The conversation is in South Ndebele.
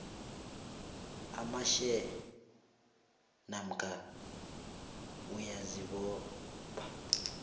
amashare namkha uyazibopha